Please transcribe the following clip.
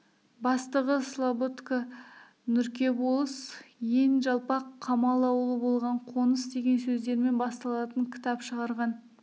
бастығы слабодка нұрке болыс ен жалпақ қамал аулы болған қоныс деген сөздермен басталатын кітап шығарған